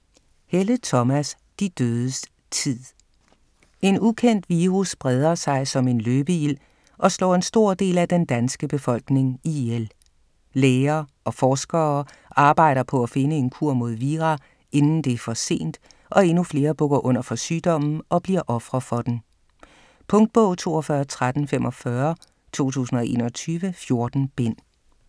Helle, Thomas: De dødes tid En ukendt virus breder sig som en løbeild og slår en stor del af den danske befolkning ihjel. Læger og forskere arbejder på at finde en kur mod vira inden det er for sent og endnu flere bukker under for sygdommen og bliver ofre for den. Punktbog 421345 2021. 14 bind.